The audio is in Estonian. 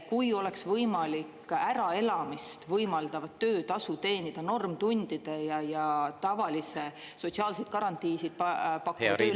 Kui oleks võimalik äraelamist võimaldav töötasu teenida normtundide ja tavalise sotsiaalseid garantiisid pakkuva töölepinguga …